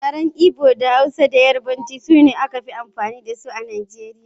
Yaren Igbo, Hausa da Yarbanci sune yaren da aka fi amfani da shi a Najeriya.